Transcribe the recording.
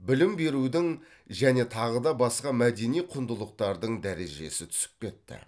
білім берудің және тағы да басқа мәдени құндылықтардың дәрежесі түсіп кетті